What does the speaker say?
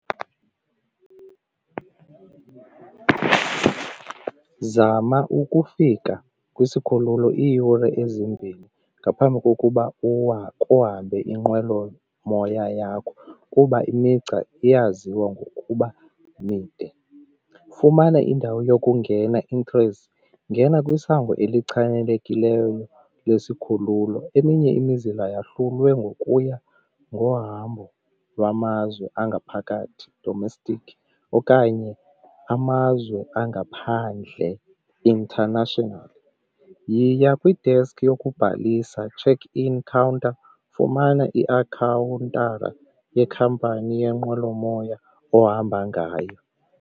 Zama ukufika kwisikhululo iiyure ezimbini ngaphambi kokuba kuhambe inqwelomoya moya yakho kuba imigca iyaziwa ngokuba mide. Fumana indawo yokungena , ngena kwisango elichanekileyo lwesikhululo eminye imizila yahlulwe ngokuya ngohambo lwamazwe angaphakathi domestic okanye amazwe angaphandle international. Yiya kwi-desk yokubhalisa check in counter, fumana yekhampani yenqwelomoya ohamba ngayo.